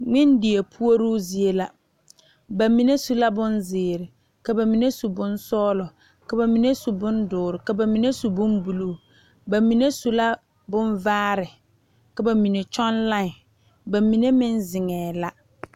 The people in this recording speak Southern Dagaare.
Ngmendie pouri zie la bamine su bonziiri, ka bamine su bonsɔglɔ, ka bamine su bondoɔre, ka bamine su bonbuluu, bamine su bonvaare, ka bamine tɔge lae bamine meŋ zeŋe la.